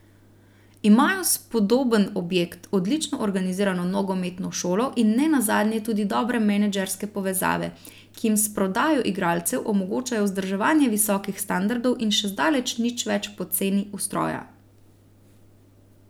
Imajo spodoben objekt, odlično organizirano nogometno šolo in ne nazadnje tudi dobre menedžerske povezave, ki jim s prodajo igralcev omogočajo vzdrževanje visokih standardov in še zdaleč nič več poceni ustroja.